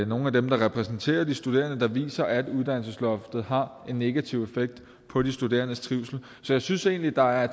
nogle af dem der repræsenterer de studerende der viser at uddannelsesloftet har en negativ effekt på de studerendes trivsel så jeg synes egentlig der er